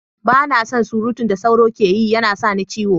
Ba na son surutun da tsoro ke yi, ya na sa ni ciwo.